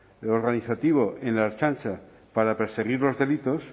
organizativo en la ertzaintza para perseguir los delitos